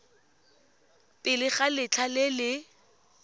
pele ga letlha le le